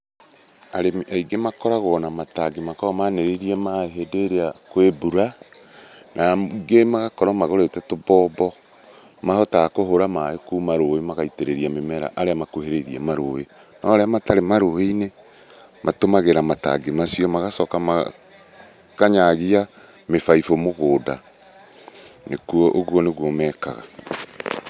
Arĩmi aingĩ makoragwo na matangi makoragwo manĩrĩirie maĩ hĩndĩ ĩrĩa kwĩ mbura, na angĩ magakorwo magũrĩte tũmbombo. Mahotaga kũhũra maĩ kuma rũĩ magaitĩrĩria mĩmera arĩa makuhĩrĩirie marũĩ, no arĩa matarĩ marũĩ-inĩ, matũmagĩra matangi macio magacoka makanyaagia mĩbaibo mũgũnda, ũguo nĩguo mekaga.